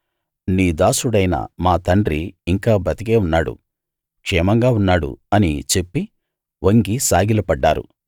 నీ దాసుడైన మా తండ్రి ఇంకా బతికే ఉన్నాడు క్షేమంగా ఉన్నాడు అని చెప్పి వంగి సాగిలపడ్డారు